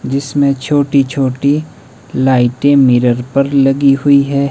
जिसमें छोटी छोटी लाइटें मिरर पर लगी हुई है।